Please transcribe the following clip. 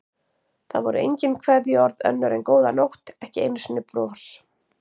Það voru engin kveðjuorð önnur en góða nótt, ekki einu sinni bros.